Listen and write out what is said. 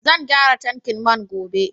Zan gyara tankin man gobe.